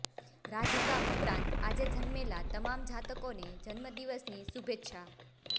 રાધિકા ઉપરાંત આજે જન્મેલા તમામ જાતકોને જન્મદિવસની શુભેચ્છા